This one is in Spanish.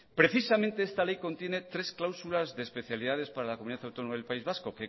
precisamente esta ley contiene tres cláusulas de especialidades para la comunidad autónoma del país vasco